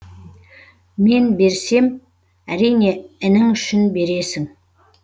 мен берсем әрине інің үшін бересің